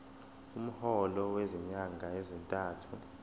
umholo wezinyanga ezintathu